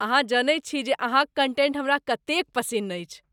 अहाँ जनैत छी जे अहाँक कंटेंट हमरा कतेक पसिन्न अछि।